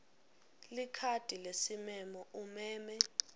likhadi lesimemo umeme